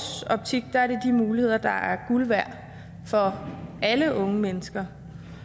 optik er det de muligheder der er guld værd for alle unge mennesker